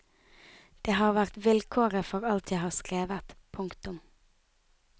Det har vært vilkåret for alt jeg har skrevet. punktum